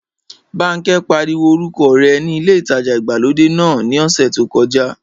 Bánkẹ́ pariwo orúkọ rẹ ní ilé ìtajà ìgbàlódé náà ní ọ̀sẹ̀ tí ó kọjá